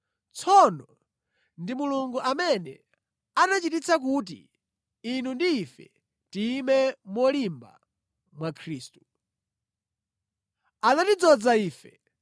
Tsono ndi Mulungu amene anachititsa kuti inu ndi ife tiyime molimba mwa Khristu. Anatidzoza ife,